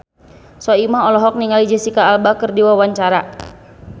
Soimah olohok ningali Jesicca Alba keur diwawancara